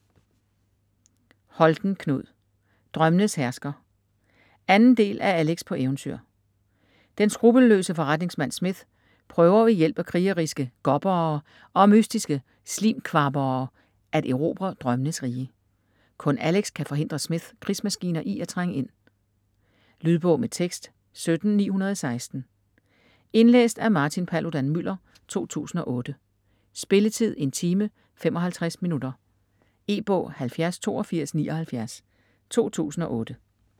Holten, Knud: Drømmenes hersker 2. del af Alex på eventyr. Den skrupelløse forretningsmand Smith prøver ved hjælp af krigeriske Gobbere og mystiske Slim-kvabbere at erobre drømmenes rige. Kun Alex kan forhindre Smiths krigsmaskiner i at trænge ind. Lydbog med tekst 17916 Indlæst af Martin Paludan-Müller, 2008. Spilletid: 1 time, 55 minutter. E-bog 708279 2008.